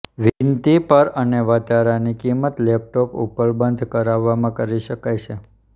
વિનંતી પર અને વધારાની કિંમત લેપટોપ ઉપલબ્ધ કરવામાં કરી શકાય છે